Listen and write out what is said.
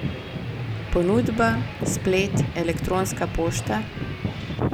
Ponudba, splet, elektronska pošta?